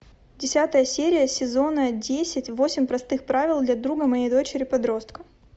десятая серия сезона десять восемь простых правил для друга моей дочери подростка